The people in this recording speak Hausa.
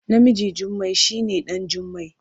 Namijn Jummai shi ne ɗan Jimmai.